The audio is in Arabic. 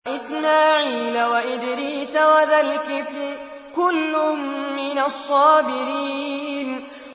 وَإِسْمَاعِيلَ وَإِدْرِيسَ وَذَا الْكِفْلِ ۖ كُلٌّ مِّنَ الصَّابِرِينَ